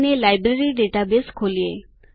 અને library database ખોલીએ